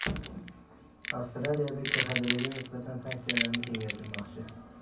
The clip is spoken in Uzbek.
Avstraliya KXDRga nisbatan sanksiyalarni kengaytirmoqchi.